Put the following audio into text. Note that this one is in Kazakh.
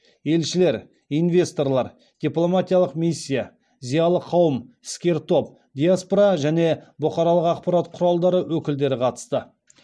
елшілер инвесторлар дипломатиялық миссия зиялы қауым іскер топ диаспора мен бұқаралық ақпарат құралдары өкілдері қатысты